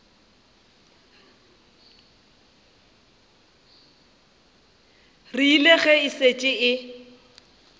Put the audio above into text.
rile ge e šetše e